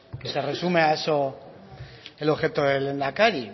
que se resume a eso el objeto del lehendakari